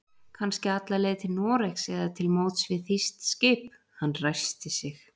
Kannski alla leið til Noregs eða til móts við þýskt skip. Hann ræskti sig.